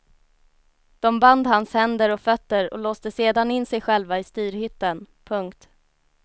De band hans händer och fötter och låste sedan in sig själva i styrhytten. punkt